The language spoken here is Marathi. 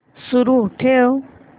सुरू ठेव